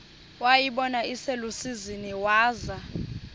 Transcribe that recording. wayibona iselusizini waza